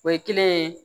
O ye kelen ye